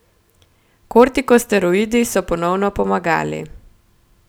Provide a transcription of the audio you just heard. Kortikosteroidi so ponovno pomagali.